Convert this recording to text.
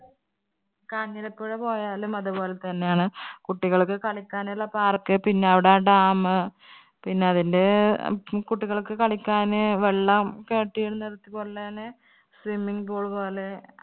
കാഞ്ഞിരപ്പുഴ പോയാലും അതുപോലെ തന്നെ ആണ്. കുട്ടികൾക്ക് കളിയ്ക്കാൻ ഉള്ള park പിന്നെ അവിടെ അഹ് dam പിന്നെ അതില് അഹ് കുട്ടികൾക്കു കളിക്കാൻ വെള്ളം കെട്ടി നിർത്തിക്കൊണ്ട് തന്നെ swimming pool പോലെ